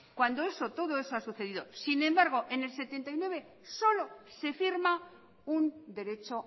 cuando todo eso ha sucedido sin embargo en el setenta y nueve solo se firma un derecho